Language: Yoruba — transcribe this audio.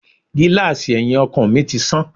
Gíláàsì ẹyin ọkọ̀ mi tí sán.